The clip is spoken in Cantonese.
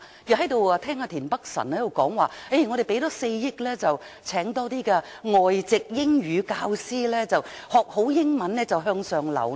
我聽到田北辰議員說，我們多投放4億元聘請較多外籍英語教師，學好英語便能向上流動。